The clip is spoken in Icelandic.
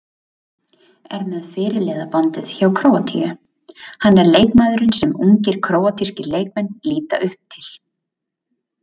Er með fyrirliðabandið hjá Króatíu, hann er leikmaðurinn sem ungir króatískir leikmenn líta upp til.